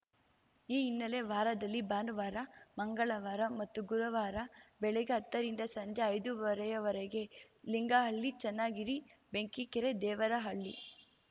ಈ ಹಿನ್ನೆಲೆ ವಾರದಲ್ಲಿ ಭಾನುವಾರ ಮಂಗಳವಾರ ಮತ್ತು ಗುರುವಾರ ಬೆಳಗ್ಗೆ ಹತ್ತರಿಂದ ಸಂಜೆ ಐದುವರೆ ವರೆಗೆ ಲಿಂಗಹಳ್ಳಿ ಚನ್ನಗಿರಿ ಬೆಂಕಿಕೆರೆ ದೇವರಹಳ್ಳಿ